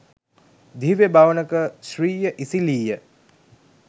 දිව්‍ය භවනක ශ්‍රීය ඉසිලීය